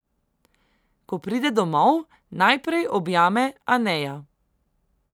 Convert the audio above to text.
Ko pride domov, najprej objame Aneja.